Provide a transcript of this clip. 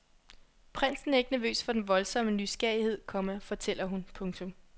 Prinsen er ikke nervøs for den voldsomme nysgerrighed, komma fortæller hun. punktum